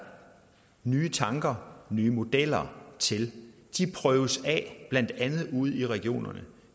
nye tanker nye modeller til de prøves af blandt andet ude i regionerne